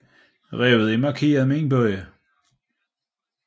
Revet er markeret med en bøje